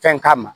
Fɛn k'a ma